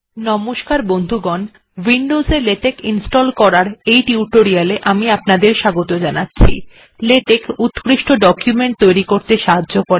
নমস্কার বন্ধুগণ উইন্ডোস্ এ লেটেক্ ইনস্টল্ করার এই টিউটোরিয়াল এ আমি আপনাদের স্বাগত জানাচ্ছি লেটেক্ উত্কৃষ্ট ডকুমেন্ট তৈরী করতে সাহায্য করে